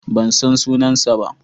Ban san sunansa ba.